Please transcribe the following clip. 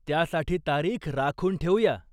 त्यासाठी तारीख राखून ठेवूया.